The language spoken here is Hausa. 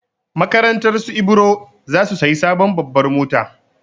Makarantarsu Ibro za su sayi sabon babbar mota.